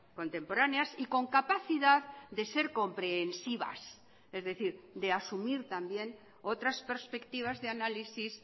contemporáneas y con capacidad de ser comprehensivas es decir de asumir también otras perspectivas de análisis